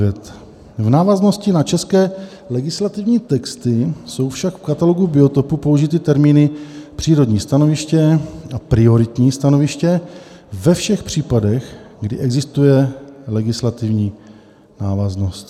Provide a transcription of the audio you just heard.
V návaznosti na české legislativní texty jsou však v katalogu biotopů použity termíny přírodní stanoviště a prioritní stanoviště ve všech případech, kdy existuje legislativní návaznost.